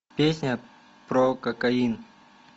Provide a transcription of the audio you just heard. песня про кокаин